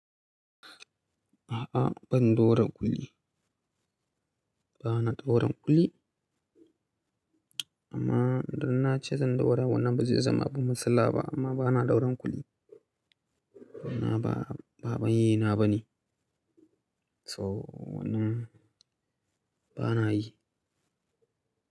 A'a ban ɗora kulli, ba na ɗoran kulli. Amma idan na ce zan ɗora wannan ba zai zama abu matsala ba amma ba na ɗoran kulli. Wannan ba, ba abin yina bane. So wannan ba na yi.